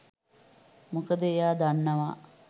මොකද එයා දන්නවා